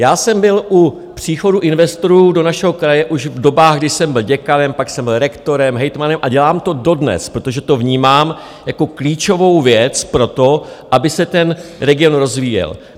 Já jsem byl u příchodu investorů do našeho kraje už v dobách, kdy jsem byl děkanem, pak jsem byl rektorem, hejtmanem a dělám to dodnes, protože to vnímám jako klíčovou věc pro to, aby se ten region rozvíjel.